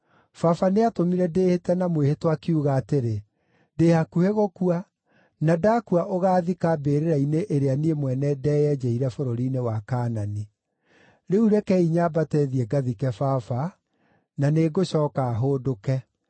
‘Baba nĩatũmire ndĩĩhĩte na mwĩhĩtwa, akiuga atĩrĩ, “Ndĩ hakuhĩ gũkua; na ndakua ũgaathika mbĩrĩra-inĩ ĩrĩa niĩ mwene ndeyenjeire bũrũri-inĩ wa Kaanani.” Rĩu rekei nyambate thiĩ ngathike baba; na nĩngũcooka hũndũke.’ ”